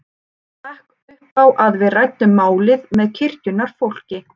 Ég stakk upp á að við ræddum málið með kirkjunnar fólki.